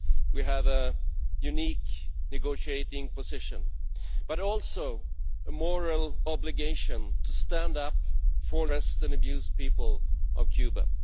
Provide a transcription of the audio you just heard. We have a unique negotiating position but also a moral obligation to stand up for the oppressed and abused people of Cuba.